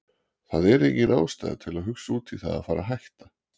Það er engin ástæða til að hugsa út í það að fara hætta.